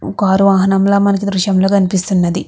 Car వాహనం లా మనకి ఈ దృశ్యం లో కనిపిస్తునది.